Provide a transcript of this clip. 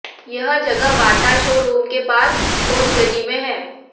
यह जगह Bata showroom के पास खोत गली में है